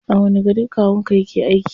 A wani gari kawun ka yake aiki?